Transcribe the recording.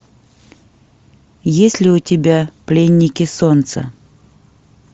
есть ли у тебя пленники солнца